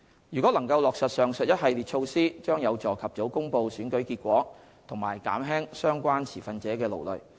如果能落實上述一系列措施，將有助及早公布選舉結果和減輕相關持份者的勞累。